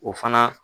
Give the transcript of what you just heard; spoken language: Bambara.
O fana